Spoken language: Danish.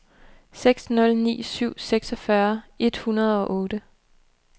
seks nul ni syv seksogfyrre et hundrede og otte